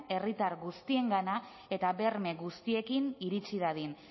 herritar guztiengana eta berme guztiekin iritsi dadin